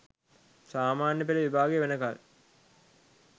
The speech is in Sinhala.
සාමාන්‍ය පෙළ විභාගය වෙනකල්